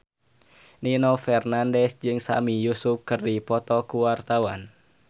Nino Fernandez jeung Sami Yusuf keur dipoto ku wartawan